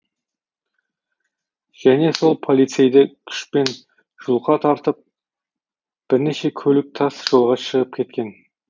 және сол полицейді күшпен жұлқа тартып бірнеше көлік тас жолға шығып кеткен